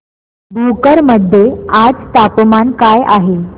भोकर मध्ये आज तापमान काय आहे